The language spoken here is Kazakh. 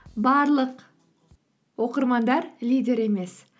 барлық оқырмандар лидер емес